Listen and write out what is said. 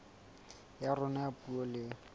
ya rona ya puo le